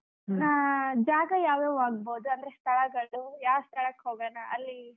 ಹಾ ಜಾಗ ಯಾವ್ಯಾವ್ ಆಗಬಹುದು ಅಂದ್ರೆ ಸ್ಥಳಗಳ್ದು ಯಾವ್ ಸ್ಥಳಕ್ಕೆ ಹೋಗೋಣಾ ಅಲ್ಲಿ?